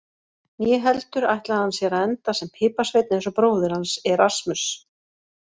Né heldur ætlaði hann sér að enda sem piparsveinn eins og bróðir hans, Erasmus.